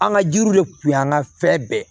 An ka jiriw de kun y'an ka fɛn bɛɛ ye